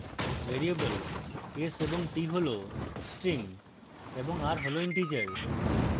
variable s এবং t হল strings এবং r হল integer